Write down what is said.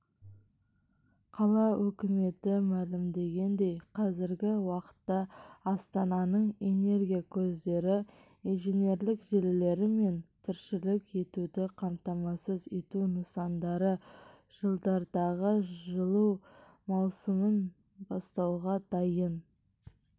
қала өкіметі мәлімдегендей қазіргі уақытта астананың энергия көздері инженерлік желілері мен тіршілік етуді қамтамасыз ету нысандары жылдардағы жылу маусымын бастауға дайын